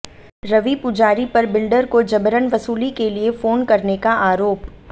रवि पुजारी पर बिल्डर को जबरन वसूली के लिए फोन करने का आरोप